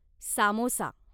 samosa